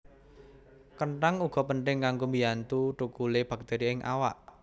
Kenthang uga penting kanggo mbiyantu thukule baktéri ing awak